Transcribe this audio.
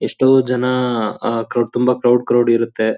ಎಷ್ಟೋ ಜನ ಆಹ್ ಕ್ರೌಡ್ ತುಂಬಾ ಕ್ರೌಡ್ ಕ್ರೌಡ್ ಇರುತ್ತೆ.